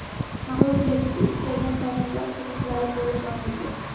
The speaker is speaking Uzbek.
Mag‘lubiyatga uchragan davlatlar hududlari bo‘lib olindi.